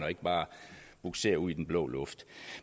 og ikke bare bugsere ud i den blå luft